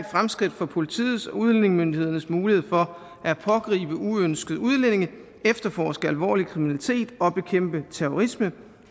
for politiets og udlændingemyndighedernes muligheder for at pågribe uønskede udlændinge efterforske alvorlig kriminalitet og bekæmpe terrorisme